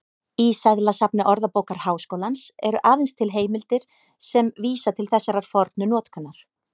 Í seðlasafni Orðabókar Háskólans eru aðeins til heimildir sem vísa til þessarar fornu notkunar.